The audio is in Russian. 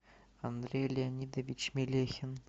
андрей леонидович мелехин